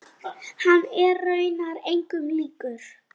Hann er raunar engum líkur.